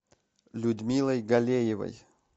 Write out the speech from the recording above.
людмилой галеевой